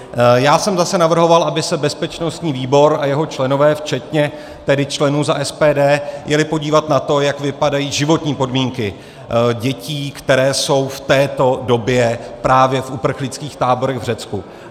Já jsem zase navrhoval, aby se bezpečnostní výbor a jeho členové včetně tedy členů za SPD jeli podívat na to, jak vypadají životní podmínky dětí, které jsou v této době právě v uprchlických táborech v Řecku.